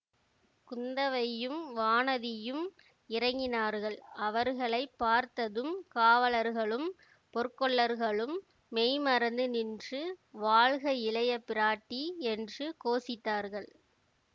குந்தவையும் வானதியும் இறங்கினார்கள் அவர்களை பார்த்ததும் காவலர்களும் பொற்கொல்லர்களும் மெய்ம்மறந்து நின்று வாழ்க இளைய பிராட்டி என்று கோஷித்தார்கள்